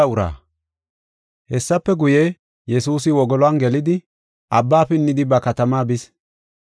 Hessafe guye, Yesuusi wogoluwan gelidi, abba pinnidi ba katamaa bis.